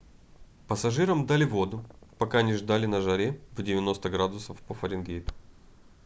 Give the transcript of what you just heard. пассажирам дали воду пока они ждали на жаре в 90 градусов по фаренгейту